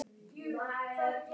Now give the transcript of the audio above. Þau óttast að vera hafnað.